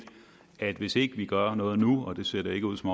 at hvis ikke vi gør noget nu og det ser det ikke ud til